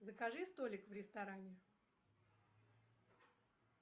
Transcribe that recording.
закажи столик в ресторане